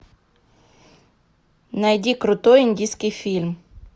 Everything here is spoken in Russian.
найди крутой индийский фильм